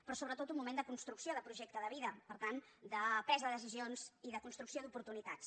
però sobretot un moment de construcció de projecte de vida per tant de presa de decisions i de construcció d’oportunitats